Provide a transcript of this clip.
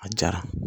A jara